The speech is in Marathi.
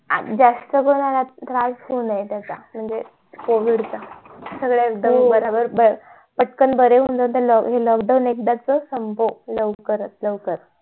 अंग जास्त कोणाला त्रास होऊ नये त्याचा म्हणजे covid चा सगळे एकदम बराबर पटकन बरे होऊन जातील हे lockdown एकदा च संपव लवकरात लवकर